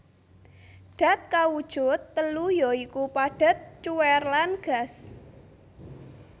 Dat kawujud telu ya iku padhet cuwèr lan gas